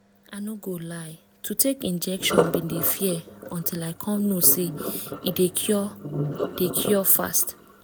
i no go lie to take injection been dey fear until i come know say e dey cure dey cure fast